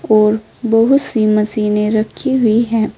और बहुत सी मशीनें रखी हुई है।